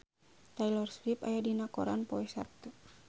Taylor Swift aya dina koran poe Saptu